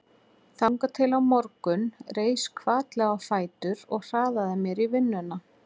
Þangað til á morgun reis hvatlega á fætur og hraðaði mér í vinnuna.